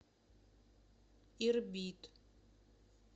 ирбит